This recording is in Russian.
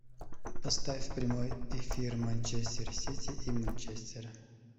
поставь прямой эфир манчестер сити и манчестера